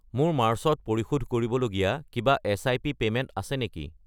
মোৰ মাৰ্চ ত পৰিশোধ কৰিবলগীয়া কিবা এচ.আই.পি. পে'মেণ্ট আছে নেকি?